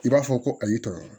I b'a fɔ ko a y'i tɔɔrɔ